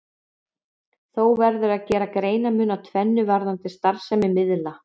Þó verður að gera greinarmun á tvennu varðandi starfsemi miðla.